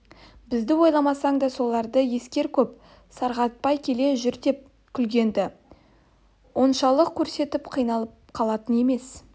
бізді ойламасаң да соларды ескер көп сарғайтпай келе жүр деп күлген-ді оншалық күрсініп қиналып қалатын емес